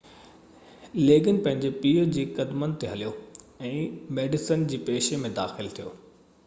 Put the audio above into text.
ليگن پنهنجي پيءُ جي قدمن تي هليو ۽ ميڊيسن جي پيشي ۾ داخل ٿيو